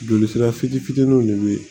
Joli sira fitini fitiniw de be yen